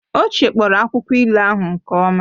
Ọ chekpọrọ akwụkwọ ilu ahụ nke ọma